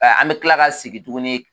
An bɛ tila ka sigi tuguni